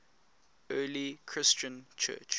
early christian church